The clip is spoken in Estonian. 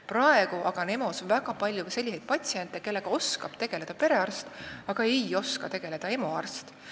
Praegu aga käib EMO-s väga palju ka selliseid patsiente, kellega oskab tegeleda perearst, aga ei oska tegeleda EMO arst.